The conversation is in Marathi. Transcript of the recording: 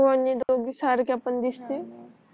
हो आणि दोघी सारख्या पण दिसते